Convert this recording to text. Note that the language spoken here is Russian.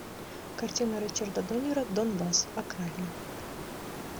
картина ричарда дормера донбас окраина